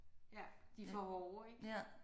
Ja de er for hårde ik?